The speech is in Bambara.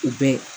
U bɛɛ